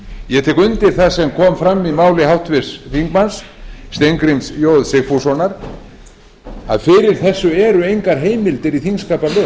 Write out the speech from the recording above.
ég tek undir það sem kom fram í máli háttvirts þingmanns steingríms j sigfússonar að fyrir eru eru engar heimildir í þingsköpum